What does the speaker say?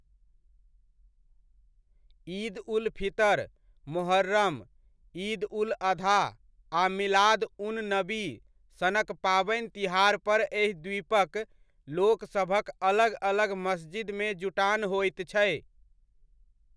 ईद उल फितर, मोहर्रम, ईद उल अधा आ मिलाद उन नबी सनक पाबनि तिहारपर एहि द्वीपक लोकसभक अलग अलग मस्जिदमे जुटान होइत छै।